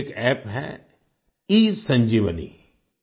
ऐसा ही एक App है ईसंजीवनी